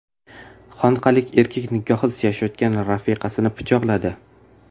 Xonqalik erkak nikohsiz yashayotgan rafiqasini pichoqladi.